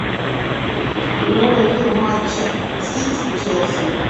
прямой эфир матча сити челси